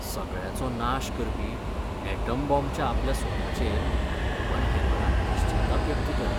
सगळ्याचो नाश करपी यॅटम बाँबच्या आपल्या सोदाचेर ओपनहायमरान पश्चाताप व्यक्त केलो.